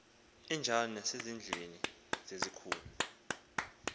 enjalo nasezindlwini zezikhul